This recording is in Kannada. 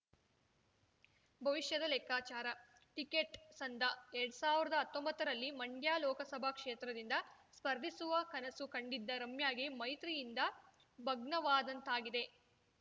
ಭವಿಷ್ಯದ ಲೆಕ್ಕಾಚಾರ ಟಿಕೆಟ್‌ ಸಂದಎರಡ್ ಸಾವಿರ್ದಾ ಹತ್ತೊಂಬತ್ತರಲ್ಲಿ ಮಂಡ್ಯ ಲೋಕಸಭಾ ಕ್ಷೇತ್ರದಿಂದ ಸ್ಪರ್ಧಿಸುವ ಕನಸು ಕಂಡಿದ್ದ ರಮ್ಯಾಗೆ ಮೈತ್ರಿಯಿಂದ ಭಗ್ನವಾದಂತಾಗಿದೆ